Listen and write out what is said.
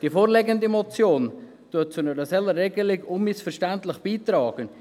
Die vorliegende Motion trägt zu einer solchen Regelung unmissverständlich bei.